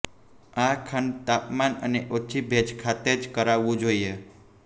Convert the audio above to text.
આ ખંડ તાપમાન અને ઓછી ભેજ ખાતે જ કરાવવું જોઈએ